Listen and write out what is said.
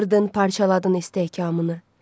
Qırdın, parçaladın istehkamını.